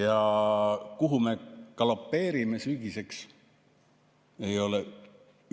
Ja kuhu me galopeerime sügiseks, ei ole